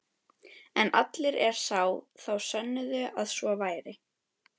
En allir er sá, þá sönnuðu að svo væri.